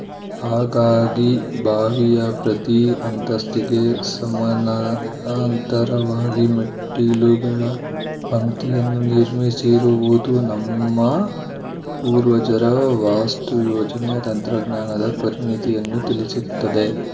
ಹಾಗಾಗಿ ಬಾವಿಯ ಪ್ರತೀ ಅಂತಸ್ತಿಗೆ ಸಮನಾಂತರವಾಗಿ ಮೆಟ್ಟಿಲುಗಳ ಪಂಕ್ತಿಯನ್ನು ನಿರ್ಮಿಸಿರುವುದು ನಮ್ಮ ಪೂರ್ವಜರ ವಾಸ್ತುಯೋಜನೆಯ ತಂತ್ರಜ್ಞಾನದ ಪರಿಣಿತಿಯನ್ನು ತಿಳಿಸುತ್ತದೆ